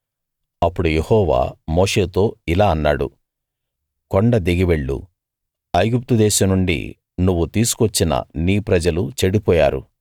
అప్పుడు యెహోవా మోషేతో ఇలా అన్నాడు కొండ దిగి వెళ్ళు ఐగుప్తు దేశం నుండి నువ్వు తీసుకు వచ్చిన నీ ప్రజలు చెడిపోయారు